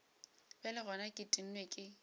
bjale gona ke tennwe ke